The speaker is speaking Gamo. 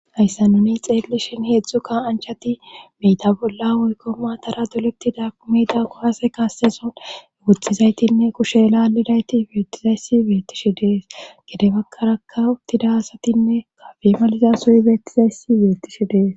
ayssa nuni xeellishin heedzdzukka anchati miyta bolla woykko maatara dolepti daaku mida gohaase kaaseson ugutizaytinne kushe lalidayti beettizayssi beettishi dees gede bakkaraka uttida asatinne kabemaliza suy beettizayssi beettishi dees